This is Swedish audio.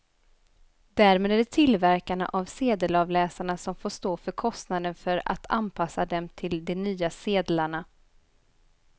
Därmed är det tillverkarna av sedelavläsarna som får stå för kostnaden för att anpassa dem till de nya sedlarna.